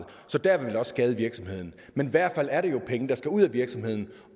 så der vil det også skade virksomheden men i hvert fald er det jo penge der skal ud af virksomheden